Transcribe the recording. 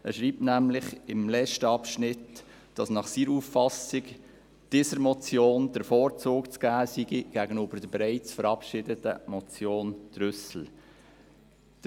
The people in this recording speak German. Er schreibt nämlich im letzten Abschnitt, nach seiner Auffassung sei dieser Motion der Vorzug zu geben gegenüber der bereits verabschiedeten Motion Trüssel .